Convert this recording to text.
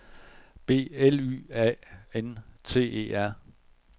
B L Y A N T E R